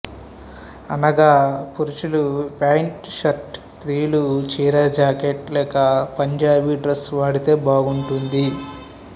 అనగా పురుషులు pant shirt స్త్రీలు చీరజాకెట్ లేక పంజాబీ డ్రస్సు వాడితే బాగుంటుంది